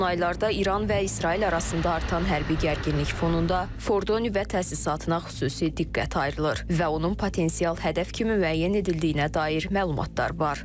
Son aylarda İran və İsrail arasında artan hərbi gərginlik fonunda Fordo nüvə təsisatına xüsusi diqqət ayrılır və onun potensial hədəf kimi müəyyən edildiyinə dair məlumatlar var.